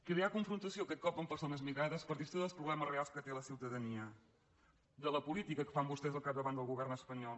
cre·ar confrontació aquest cop amb persones migrades per distreure dels problemes reals que té la ciutadania de la política que fan vostès al capdavant del govern es·panyol